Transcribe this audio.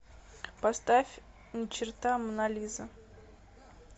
поставь ни черта монолиза